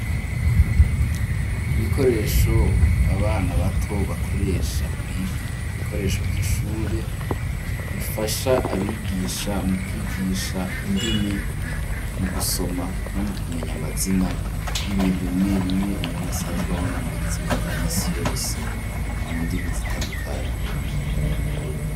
Ibikoresho ,abana bato bakoresha kwiga, ibikoresho vy'ishure bifasha abigisha mu kwigisha indimi ,mu gusoma ,no mu kumenya amazina y'ibintu, bimwe bimwe, umuntu asanzwe abona mu buzima bwa misi yose ,mu ndimi zitandukanye.